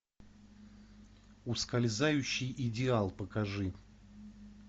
ускользающий идеал покажи